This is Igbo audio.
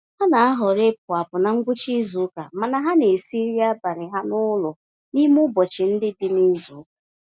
Ha na-ahọrọ ịpụ-apụ na ngwụcha izuka, mana ha n'esi nri abalị ha n'ụlọ n'ime ụbọchị ndị dị nizuka